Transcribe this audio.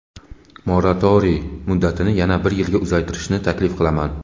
moratoriy muddatini yana bir yilga uzaytirishni taklif qilaman.